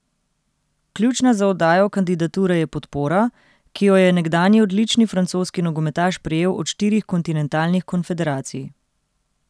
Ključna za oddajo kandidature je podpora, ki jo je nekdanji odlični francoski nogometaš prejel od štirih kontinentalnih konfederacij.